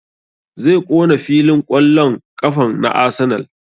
Zai ƙona filin ƙwallon ƙafan na Arsenal